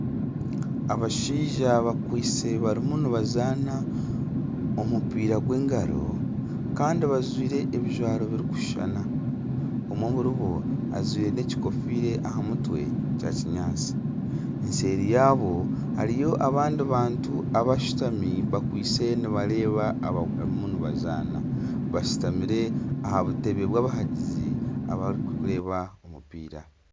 Abashaija bakwaitse barimu nibazaana omupiira gw'engaro kandi bajwaire ebijwaro birikushushana omwe aharibo ajwaire nekigofiire aha mutwe kya kinyaatsi nseeri yaabo hariyo abandi bantu abashutami bakwaitse nibareeba abarimu nibazaana bashutamire aha butebe bwabahagizi abarikureeba omupiira.